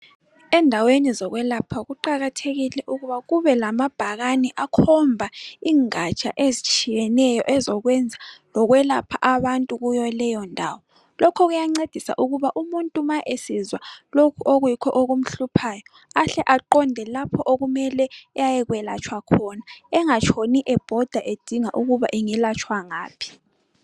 Endaweni zokwelapha kuqakathekile ukuba kube lamabhakane akhomba ingatsha ezitshiyeneyo ezokwenza lokwelapha abantu kuyo leyondawo, lokhu kuyancedisa ukuba umuntu ma esizwa lokho okuyikho okumhluphayo ahle aqonde lapho okumele ayekwelatshwa khona engatshoni ebhoda edinga ukuba angelatshwa ngaphi